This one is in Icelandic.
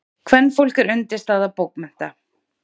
Kvenfólk er undirstaða bókmennta.